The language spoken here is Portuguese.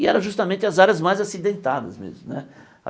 E era justamente as áreas mais acidentadas mesmo né.